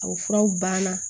A furaw banna